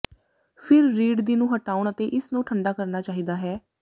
ਫਿਰ ਰੀੜ ਦੀ ਨੂੰ ਹਟਾਉਣ ਅਤੇ ਇਸ ਨੂੰ ਠੰਢਾ ਕਰਨਾ ਚਾਹੀਦਾ ਹੈ